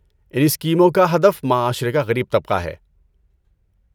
ان اسکیموں کا ہدف معاشرے کا غریب طبقہ ہے۔